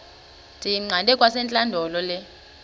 ndiyiqande kwasentlandlolo le